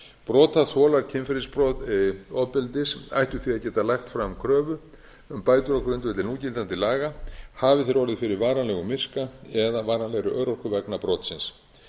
brotaþolar kynferðisofbeldis ættu því að geta lagt fram kröfu um bætur á grundvelli núgildandi laga hafi þeir orðið fyrir varanlegum miska eða varanlegri örorku vegna brotsins